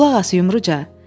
Qulaq as, Yumruca.